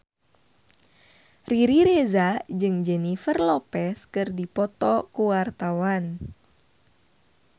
Riri Reza jeung Jennifer Lopez keur dipoto ku wartawan